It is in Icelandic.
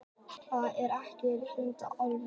Það var ekki einusinni fallegt.